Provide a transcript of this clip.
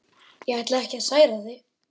Ég ætlaði ekki að særa þig.